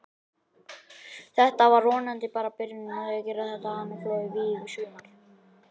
Þetta er vonandi bara byrjunin á því að gera þetta að flottu vígi í sumar.